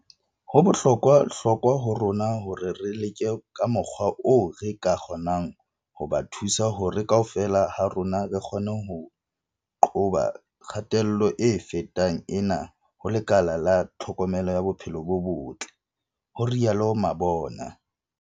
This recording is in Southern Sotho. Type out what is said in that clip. "Ho bohlokwa hlokwa ho rona hore re leke ka mokgwa oo re ka kgonang ho ba thusa hore kaofela ha rona re kgone ho qoba kgatello e fetang ena ho lekala la tlhokomelo ya bophelo bo botle," ho rialo Mabona.